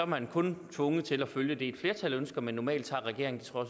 man er kun tvunget til at følge det et flertal ønsker men normalt tager regeringen og